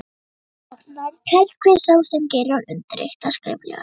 Stofnandi telst hver sá sem gerir og undirritar skriflegan stofnsamning.